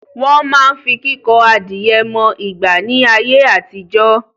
Wọ́n máa ń fi kíkọ adìẹ mọ ìgbà ni ayé àtijọ́